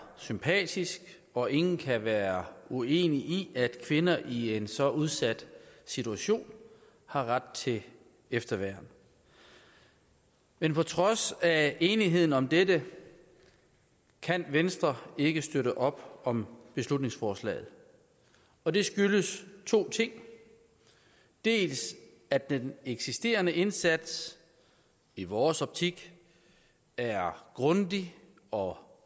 sympatisk og ingen kan være uenig i at kvinder i en så udsat situation har ret til efterværn men på trods af enigheden om dette kan venstre ikke støtte op om beslutningsforslaget og det skyldes to ting dels at den eksisterende indsats i vores optik er grundig og